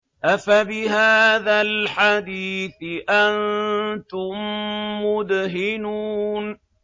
أَفَبِهَٰذَا الْحَدِيثِ أَنتُم مُّدْهِنُونَ